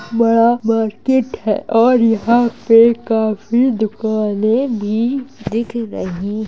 बड़ा मार्केट है और यहाँ पे काफी दुकाने भी दिख रहीं --